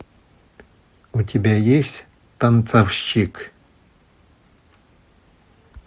у тебя есть танцовщик